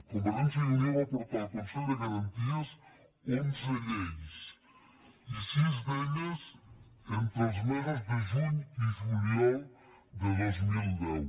convergència i unió va portar al consell de garanties onze lleis i sis d’elles entre els mesos de juny i juliol de dos mil deu